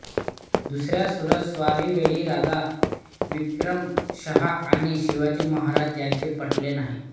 दुसऱ्या सुरत स्वारीवेळी राजा विक्रमशहा आणि शिवाजी महाराज यांचे पटले नाही